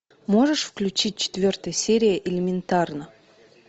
можешь включить четвертая серия элементарно